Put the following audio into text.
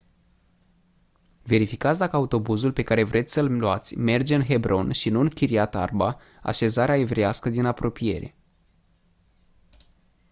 verificați dacă autobuzul pe care vreți să-l luați merge în hebron și nu în kiryat arba așezarea evreiască din apropiere